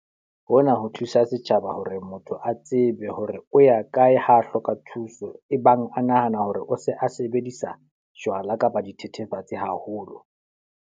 Hona ho thusa setjhaba hore motho a tsebe hore o ya kae ha a hloka thuso, ebang a nahana hore o se a sebedisa jwala kapa dithethefatsi haholo.